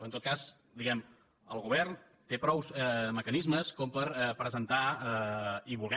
en tot cas diguem ne el govern té prou mecanismes per presentar i voler